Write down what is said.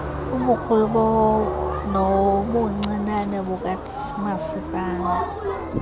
ubukhulu nobuncinane bukamasipala